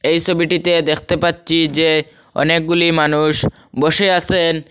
এই সবিটিতে দেখতে পাচ্ছি যে অনেকগুলি মানুষ বসে আসেন।